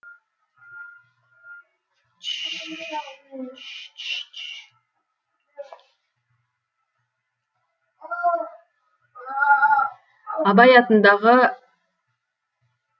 абай атындағы